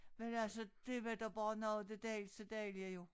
Men altså det var da bare noget af det dejligeste dejlige jo